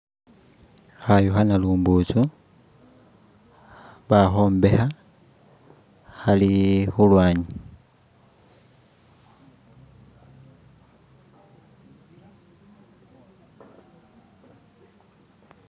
hayu hanalubuntsu bahombeha hali hulwanyi